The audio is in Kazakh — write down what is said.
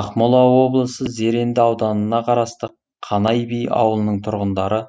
ақмола облысы зеренді ауданына қарасты қанай би ауылының тұрғындары